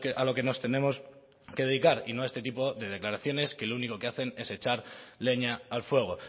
a lo que nos tenemos que dedicar y no a este tipo de declaraciones que lo único que hacen es echar leña al fuego